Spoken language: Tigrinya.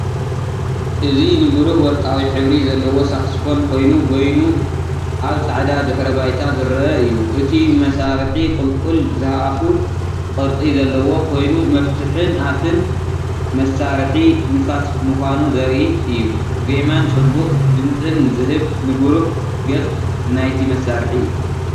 እዚ ንብሩህ ወርቃዊ ሕብሪ ዘለዎ ሳክስፎን ኮይኑ በይኑ ኣብ ጻዕዳ ድሕረ ባይታ ዝረአ እዩ። እቲ መሳርሒ ቁልቁል ዝኣፉ ቅርጺ ዘለዎ ኮይኑመፍትሕን ኣፍን መሳርሒ ንፋስ ምዃኑ ዘርኢ እዩ። ዜማን ጽቡቕ ድምጽን ዝህብ ንብሩህ ገጽ ናይቲ መሳርሒ እዩ።